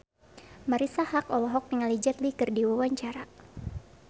Marisa Haque olohok ningali Jet Li keur diwawancara